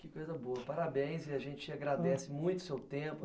Que coisa boa, parabéns e a gente agradece muito o seu tempo.